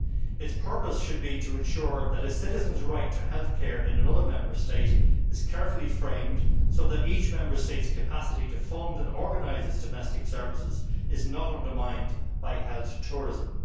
Its purpose should be to ensure that a citizen's right to health care in another Member State is carefully framed, so that each Member State's capacity to fund and organise its domestic services is not undermined by health tourism.